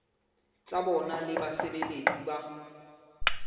tsa bona le basebeletsi ba